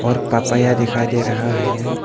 और पपाया दिखाई दे रहा है।